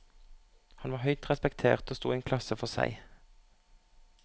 Han var høyt respektert og sto i en klasse for seg.